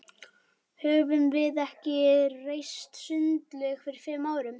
Höfðum við ekki reist sundlaug fyrir fimm árum?